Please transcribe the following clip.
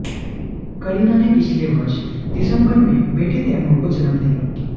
करीना ने पिछले वर्ष दिसंबर में बेटे तैमूर को जन्म दिया